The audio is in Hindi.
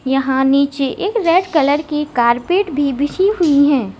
यहां नीचे एक रेड कलर की कारपेट भी बिछी हुई है।